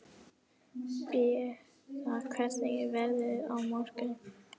Beata, hvernig er veðrið á morgun?